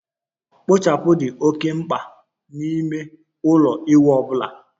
Kpochapu dị oké mkpa n'ime ụlọ ịwụ ọ bụla